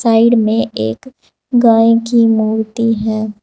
Side में एक गाय की मूर्ति है।